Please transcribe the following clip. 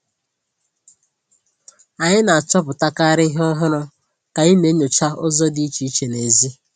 Anyị na-achọpụtakarị ihe ọhụrụ ka anyị na-enyocha ụzọ dị iche iche n'èzí.